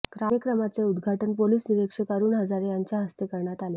कार्यक्रमाचे उद्घाटन पोलीस निरीक्षक अरुण हजारे यांच्या हस्ते करण्यात आले